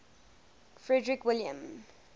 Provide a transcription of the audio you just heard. frederick william